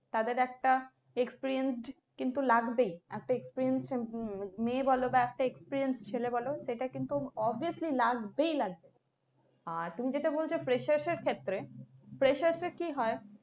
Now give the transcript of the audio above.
তাদের একটা experienced তো লাগবেই একটা experienced মেয়ে বলো বা একটা experienced ছেলে বলো সেটা কিন্তু obviously লাগবেই লাগবে আহ তুমি যেটা বলছো freshers এর ক্ষেত্রে freshers এ কি হয়